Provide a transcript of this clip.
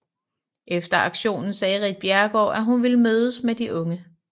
Efter aktionen sagde Ritt Bjerregaard at hun ville mødes med de unge